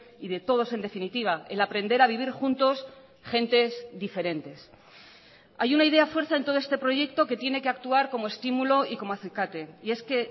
y de todos en definitiva el aprender a vivir juntos gentes diferentes hay una idea fuerza en todo este proyecto que tiene que actuar como estímulo y como acicate y es que